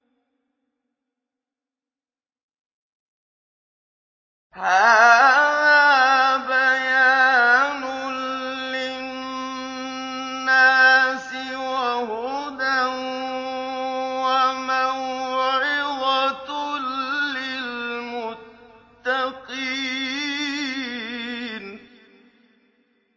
هَٰذَا بَيَانٌ لِّلنَّاسِ وَهُدًى وَمَوْعِظَةٌ لِّلْمُتَّقِينَ